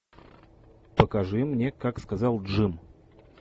покажи мне как сказал джим